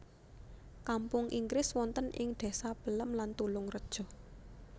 Kampung Inggris wonten ing désa Pelem lan Tulungreja